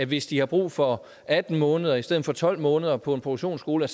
hvis de har brug for atten måneder i stedet for tolv måneder på en produktionsskole